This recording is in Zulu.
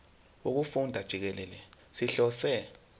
wokufunda jikelele sihlose